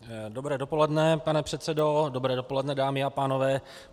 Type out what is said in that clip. Dobré dopoledne, pane předsedo, dobré dopoledne, dámy a pánové.